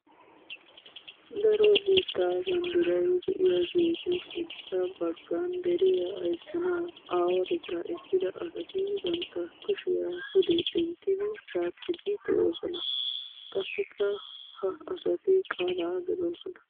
Daro biitta banddiray de'iyagettu sintta bagan deriya ayssanawu aawatetta ekkidda asatti bantta kushiya pude denttiddi caaqqiddi de'osonna. Qassikka ha asatti qaala gelossonna.